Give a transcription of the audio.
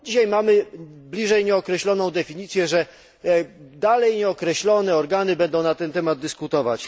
Dzisiaj mamy bliżej nieokreśloną definicję, że dalej nieokreślone organy będą na ten temat dyskutować.